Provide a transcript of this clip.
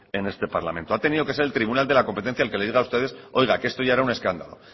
en este parlamento ha tenido que ser el tribunal de competencia el que les diga a ustedes que esto ya era un escándalo